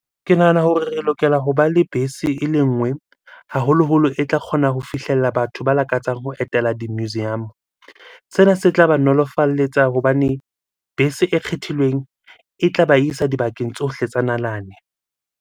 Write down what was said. Ke nahana hore re lokela hoba le bese ele nngwe. Haholoholo e tla kgona ho fihlella batho ba lakatsang ho etela di-museum. Sena se tla ba nolofalletsa hobane bese e kgethilweng e tla ba isa dibakeng tsohle tsa nalane.